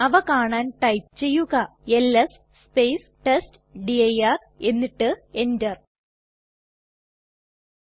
അവ കാണാൻ ടൈപ്പ് ചെയ്യുക എൽഎസ് ടെസ്റ്റ്ഡിർ എന്നിട്ട് enter അമർത്തുക